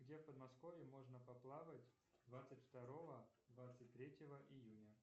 где в подмосковье можно поплавать двадцать второго двадцать третьего июня